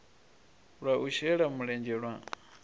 lwa u shela mulenzhe lwa